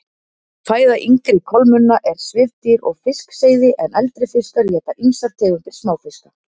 Fæða yngri kolmunna er svifdýr og fiskseiði en eldri fiskar éta ýmsar tegundir smáfiska.